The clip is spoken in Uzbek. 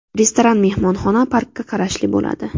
Restoran mehmonxona, parkka qarashli bo‘ladi.